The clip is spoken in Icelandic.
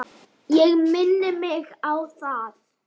Ég minni mig á það.